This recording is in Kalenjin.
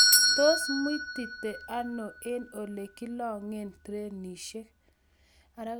tos muitite ano eng' ole kilong'en trenisiek?